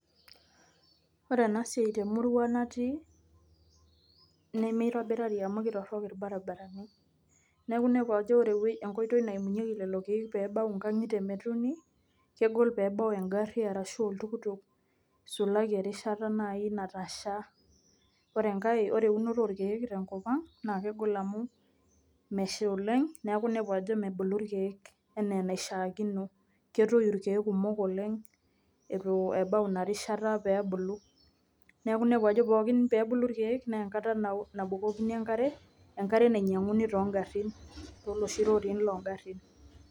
Ore ena siai te murua natii nemitobirari amu ketorok irbaribarani, neeku inepu ajo ore ewei enkoitoi naimunyeki lelo keek peebau nkang'itie metuuni kegol peebau eng'ari arashu oltukutuk isulaki erishata nai natasha. Ore enkae ore eunoto orkeek tenkop ang' naake egol amu mesha oleng' neeku inepu ajo mebulu irkeek enaa enaishaakino ketoyu irkeek kumok oleng' itu ebau ina rishataa pee ebulu. Neeku inepu ajo pookin peebulu irkeek nee enkata nao nabukokini enkare, enkare nainyang'uni too ng'arin tooloshi rorin loo ngarrin.